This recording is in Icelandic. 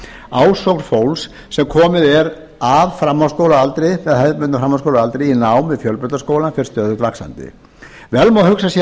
ásókn fólks sem komið er af hefðbundnum framhaldsskólaaldri í nám við fjölbrautaskólann fer stöðugt vaxandi vel má hugsa sér